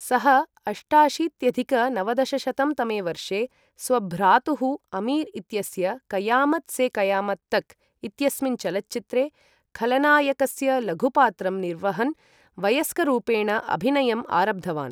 सः अष्टाशीत्यधिक नवदशशतं तमे वर्षे स्वभ्रातुः अमीर् इत्यस्य क़यामत् से क़यामत् तक् इत्यस्मिन् चलच्चित्रे खलनायकस्य लघुपात्रं निर्वहन् वयस्करूपेण अभिनयम् आरब्धवान्।